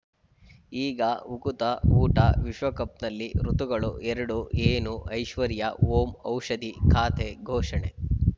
ಈಗ ಉಕುತ ಊಟ ವಿಶ್ವಕಪ್‌ನಲ್ಲಿ ಋತುಗಳು ಎರಡು ಏನು ಐಶ್ವರ್ಯಾ ಓಂ ಔಷಧಿ ಖಾತೆ ಘೋಷಣೆ